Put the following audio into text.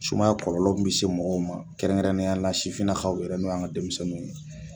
Sumaya kɔlɔlɔ min bɛ se mɔgɔw ma kɛrɛnkɛrɛnnenya la sifinnakaw yɛrɛ n'o y'an ka denmisɛnninw ye